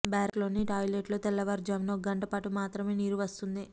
barrack లోని toilet లో తెల్లవారు జామున ఒక గంటపాటు మాత్రమే నీరు వస్తుంది